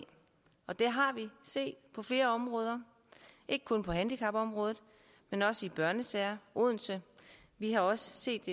og det har vi set på flere områder ikke kun på handicapområdet men også i børnesager odense vi har også set